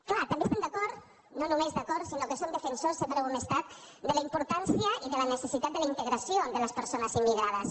clar també estem d’acord no només d’acord sinó que en som defensors sempre ho hem estat de la impor·tància i de la necessitat de la integració de les perso·nes immigrades